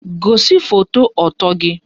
Gosi foto ọtọ gị!